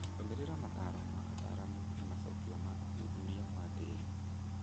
Rũmĩrĩra mataaro ma ataaramu na macokio ma ũthuthuria wa tĩĩri.